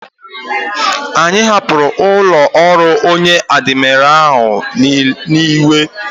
Anyi hapuru ulo oru onye admira ahu n'iwe